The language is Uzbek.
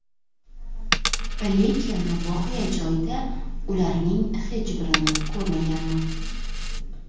Lekin voqea joyida ularning hech birini ko‘rmaganman.